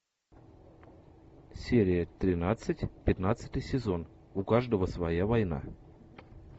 серия тринадцать пятнадцатый сезон у каждого своя война